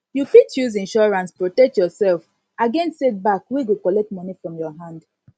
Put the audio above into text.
you fit use insurance protect yourself against setback wey go collect money from your hand